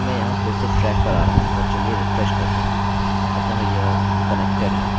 अतः यह connected है और यदि यह नहीं मिलता है तो हमें mysql_error मिलती है